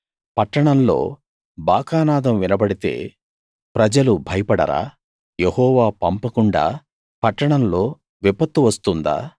పట్టణంలో బాకానాదం వినబడితే ప్రజలు భయపడరా యెహోవా పంపకుండా పట్టణంలో విపత్తు వస్తుందా